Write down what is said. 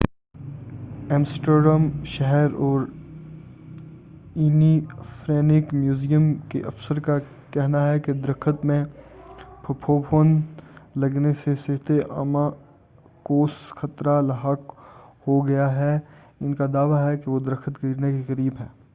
Amsterdam شہر اور Anne Frank museum کے افسروں کا کہنا ہے کہ درخت میں پھپھوند لگنے سے صحتِ عامہ کوس خطرہ لاحق ہو گیا ہے اور ان کا دعوی ہے کہ وہ درخت گرنے کے قریب ہے